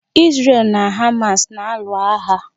Isrel na Hamas na-alụ agha.